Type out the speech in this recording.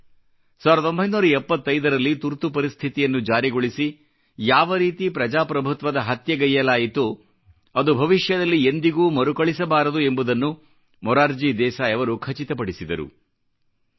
ಹೀಗೆ 1975 ರಲ್ಲಿ ತುರ್ತು ಪರಿಸ್ಥಿತಿಯನ್ನು ಜಾರಿಗೊಳಿಸಿ ಯಾವ ರೀತಿ ಪ್ರಜಾಪ್ರಭುತ್ವದ ಹತ್ಯೆಗೈಯ್ಯಲಾಯಿತೋ ಅದು ಭವಿಷ್ಯದಲ್ಲಿ ಎಂದಿಗೂ ಮರುಕಳಿಸಬಾರದು ಎಂಬುದನ್ನು ಮೊರಾರ್ಜಿ ದೇಸಾಯಿ ಅವರು ಖಚಿತಪಡಿಸಿದರು